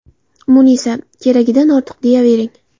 Munisa :– Keragidan ortiq deyavering.